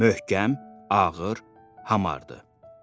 Möhkəm, ağır, hamardır.